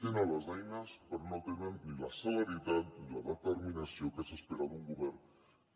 tenen les eines però no tenen ni la celeritat ni la determinació que s’espera d’un govern